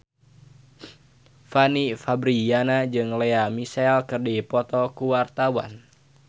Fanny Fabriana jeung Lea Michele keur dipoto ku wartawan